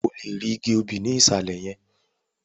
O lè rí igi obì ní ìsàlẹ̀ yẹn